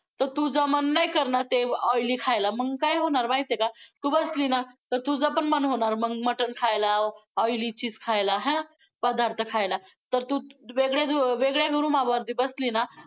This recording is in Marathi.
तर तुझं मन नाही करणार ते oily खायला, मग काय होणार माहितेय का? तू बसली ना तर तुझं पण मन होणार मग मटण खायला, oily चीज खायला, आहे ना, पदार्थ खायला! तर तू वेगळ्या~वेगळ्या room मध्ये बसली ना,